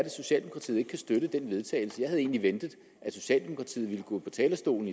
at socialdemokratiet ikke kan støtte til vedtagelse jeg havde egentlig ventet at socialdemokratiet ville gå på talerstolen